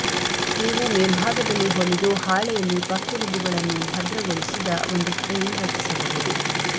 ನೀವು ಮೇಲ್ಭಾಗದಲ್ಲಿ ಹೊಲಿದು ಹಾಳೆಯಲ್ಲಿ ಪಕ್ಕೆಲುಬುಗಳನ್ನು ಭದ್ರಗೊಳಿಸಿದ ಒಂದು ಫ್ರೇಮ್ ರಚಿಸಬಹುದು